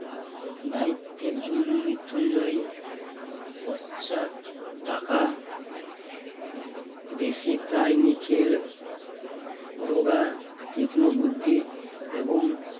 দায়িত্বের জন্য মৃত্যুঞ্জয় পশ্চাত টাকা বেশি প্রায় নিখিল রোগা, তীক্ষ্ণবুদ্ধি এবং